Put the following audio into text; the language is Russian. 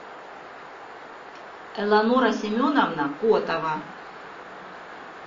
элеонора семеновна котова